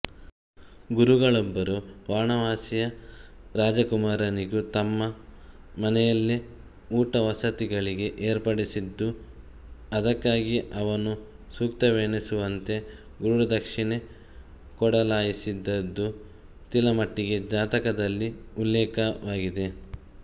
ಗುರುಗಳೊಬ್ಬರು ವಾರಾಣಸಿಯ ರಾಜಕುಮಾರನಿಗೂ ತಮ್ಮ ಮನೆಯಲ್ಲೆ ಊಟವಸತಿಗಳಿಗೆ ಏರ್ಪಡಿಸಿದ್ದುದೂ ಅದಕ್ಕಾಗಿ ಅವನು ಸೂಕ್ತವೆನಿಸುವಂತೆ ಗುರುದಕ್ಷಿಣೆ ಕೊಡಲಾಶಿಸಿದ್ದುದೂ ತಿಲಮುಟ್ಟಿ ಜಾತಕದಲ್ಲಿ ಉಲ್ಲೇಖವಾಗಿದೆ